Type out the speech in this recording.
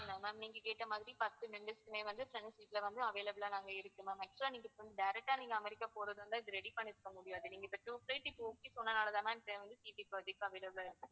ma'am நீங்க கேட்டமாதிரி பத்து members க்குமே வந்து front seat ல வந்து available லா நாங்க இருக்கு ma'am actual லா நீங்க இப்போ direct ஆ அமெரிக்க போறதாயிருந்தா இது ready பண்ணிருக்க முடியாது. நீங்க இப்போ two flight okay சொன்னதுனால தான் ma'am ticket இப்போ available லா இருக்கு.